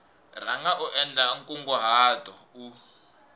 rhanga u endla nkunguhato u